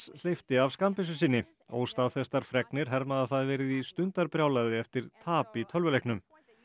hleypti af skammbyssu sinni óstaðfestar fregnir herma að það hafi verið í stundarbrjálæði eftir tap í tölvuleiknum